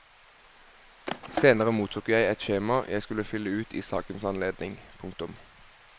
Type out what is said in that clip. Senere mottok jeg et skjema jeg skulle fylle ut i sakens anledning. punktum